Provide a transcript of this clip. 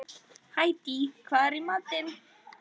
Hædý, hvað er í matinn?